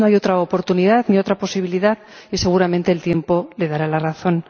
Tal vez no hay otra oportunidad, ni otra posibilidad, y seguramente el tiempo le dará la razón.